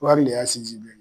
Wari in de y'a sinsin bere ye